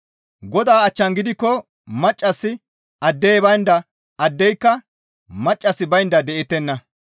Godaa achchan gidikko maccassi addey baynda, addeyka maccassi baynda de7ettenna.